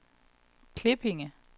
Klippinge